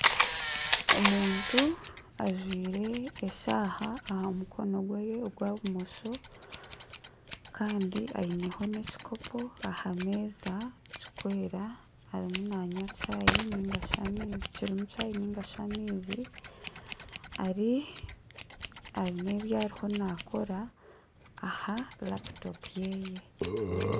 Omuntu ajwaire eshaaha aha mukono gwe ogwa bumosho kandi aineho n'ekikopo aha meeza kirikwera kirimu chayi ningashi amaizi aine ebi ariyo nakora aha laputopu ye